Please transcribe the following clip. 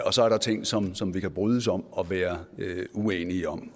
og så er der ting som som vi kan brydes om og være uenige om